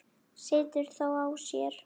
Situr þó á sér.